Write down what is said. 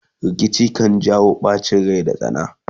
rikici kan jawo ɓacin Rai da tsana